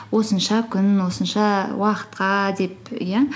осынша күн осынша уақытқа деп иә